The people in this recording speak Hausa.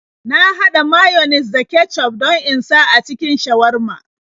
Na haɗa mayones da kecuf don in sa a cikin shawarma.